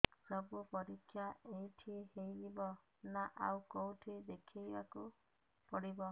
ସବୁ ପରୀକ୍ଷା ଏଇଠି ହେଇଯିବ ନା ଆଉ କଉଠି ଦେଖେଇ ବାକୁ ପଡ଼ିବ